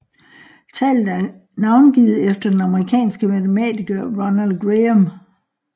Tallet er navngivet efter den amerikanske matematiker Ronald Graham